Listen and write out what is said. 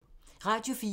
Radio 4